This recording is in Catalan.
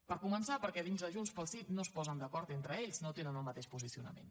per començar perquè dins de junts pel sí no es posen d’acord entre ells no tenen el mateix posicionament